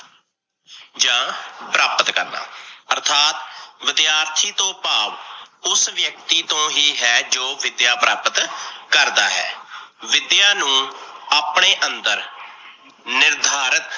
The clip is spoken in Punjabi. ਜਾਂ ਪ੍ਰਾਪਤ ਕਰਨਾ ਅਰਥਾਤ ਵਿਦਿਆਰਥੀ ਤੋਂ ਭਾਵ ਉਸ ਵਿਅਕਤੀ ਤੋਂ ਹੀ ਹੈ, ਜੋ ਵਿਦਿਆ ਪ੍ਰਾਪਤ ਕਰਦਾ ਹੈ, ਵਿਦਿਆ ਨੂੰ ਆਪਣੇ ਅੰਦਰ ਨਿਰਧਾਰਤ